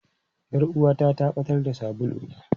Yar uwata ta ɓatar da sabuluna.